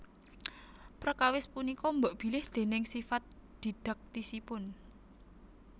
Prekawis punika mbokbilih déning sifat dhidhaktisipun